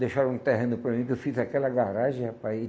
Deixaram um terreno para mim que eu fiz aquela garagem, rapaz.